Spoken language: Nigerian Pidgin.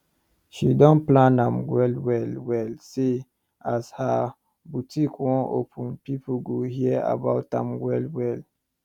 she don plan am well well well say as her botik wan open pipo go hear about am well well